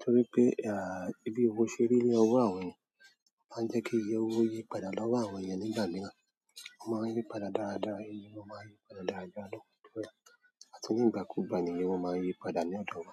torí pé, ah, bí owó ṣe rí ni owó àwọn ènìyàn máa ń jẹ́ kí ìyẹ̀ owo yí padà lọ́wọ́ àwọn ènìyàn nígbà mìíràn. O máa ń yípadà dáradára, èyí o máa ń yí padà dáradára lọ́wọ́ ènìyàn àti nígbà kú gba de ni wọ́n máa ń yípadà ní ọ̀dọ̀ wa.